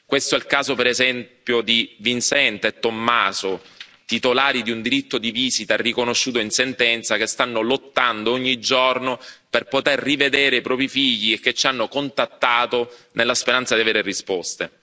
Questo è il caso per esempio di Vincent e Tommaso, titolari di un diritto di visita riconosciuto in sentenza, che stanno lottando ogni giorno per poter rivedere i propri figli e che ci hanno contattato nella speranza di avere risposte.